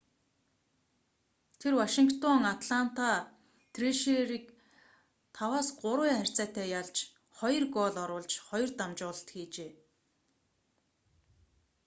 тэр вашингтон атланта трэшерерийг 5-3 харьцаатайгаар ялж 2 гоол оруулж 2 дамжуулалт хийжээ